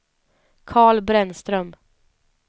Carl Brännström